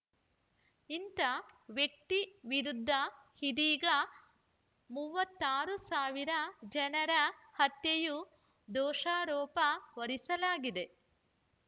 ಇಂಥ ವ್ಯಕ್ತಿ ವಿರುದ್ಧ ಇದೀಗ ಮೂವತ್ತಾರು ಸಾವಿರ ಜನರ ಹತ್ಯೆಯ ದೋಷಾರೋಪ ಹೊರಿಸಲಾಗಿದೆ